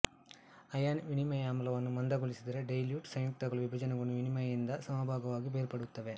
ion ವಿನಿಮಯಾಮ್ಲವನ್ನು ಮಂದಗೊಳಿಸಿದರೆ dilute ಸಂಯುಕ್ತಗಳು ವಿಭಜನೆಗೊಂಡು ವಿನಿಮಯಿಯಿಂದ ಸಮಭಾಗವಾಗಿ ಬೇರ್ಪಡುತ್ತವೆ